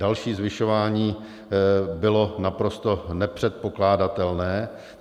Další zvyšování bylo naprosto nepředpokládatelné.